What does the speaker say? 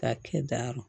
K'a kɛ darumu